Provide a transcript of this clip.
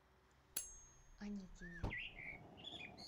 аникине